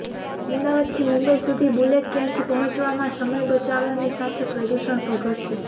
અમદાવાદથી મુંબઈ સુધી બુલેટ ટ્રેનથી પહોંચવામાં સમય બચવાની સાથે પ્રદૂષણ પણ ઘટશે